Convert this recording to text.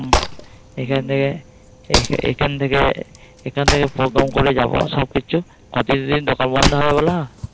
এখান থেকে এখান থেকে এখান থেকে করে যাবো। সবকিছু দোকান বন্ধ হয়ে গেল